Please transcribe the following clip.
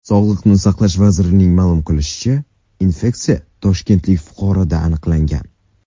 Sog‘liqni saqlash vazirligining ma’lum qilishicha , infeksiya toshkentlik fuqaroda aniqlangan.